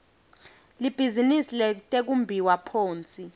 libhizinisi letekumbiwa phonsi